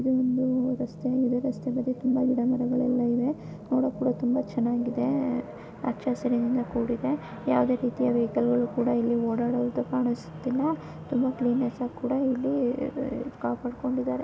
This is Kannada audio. ಇಲ್ಲಿ ಒಂದು ರಸ್ತೆ ಇದೆ ರಸ್ತೆ ಬದಿ ತುಂಬಾ ಗಿಡಗಳೆಲ್ಲ ಇದೆ ನೋಡಕ್ಕೂಡ ತುಂಬಾ ಚೆನ್ನಾಗಿದೆ ಹಚ್ಚ ಹಸಿರಿನಿಂದ ಕೂಡಿದೆ ಯಾವುದೇ ರೀತಿಯ ವೆಹಿಕಲ್ ಗಳು ಕೂಡ ಇಲ್ಲಿ ಓಡಾಡುವುದು ಕಾಣಿಸುತ್ತಿಲ್ಲ ತುಂಬಾ ಕ್ವೀನೆನೆಸ್ಸ್ ಆಗಿ ಕೂಡ ಇಲ್ಲಿ ಕಾಪಾಡ್ಕೊಂಡಿದ್ದಾರೆ.